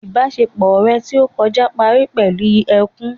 Ìbásepọ̀ rẹ̀ tí ó kọjá parí pẹ̀lú ẹkún